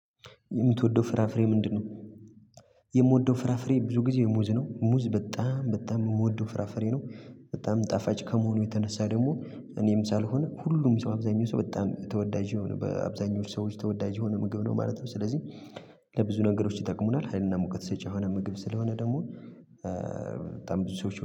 የምትወደው ፍራፍሬ ምንድነው? የምወደው ፍራፍሬ ብዙ ጊዜ ሙዝ ነው ሙዝ በጣም በጣም የምወደው ፍራፍሬ ነው። በጣም ጣፋጭ ከመሆኑ የተነሳ ደግሞ እኔም ሳልሆን ሁሉም ሰው አብዛኛው ሰው በጣም ተወዳጅ የሆነ በአብዛኞቹ ሰዎች ተወዳጅ የሆኑ ምግብ ነው ማለት ነው። ስለዚህ ለብዙ ነገሮች ይጠቅሙናል ሀይልና ሙቀት ሰጪ የሆነ ምግብ ስለሆነ ደግሞ በጣም ብዙ ሰዎች